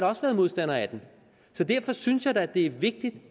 også været modstander af den så derfor synes jeg da det er vigtigt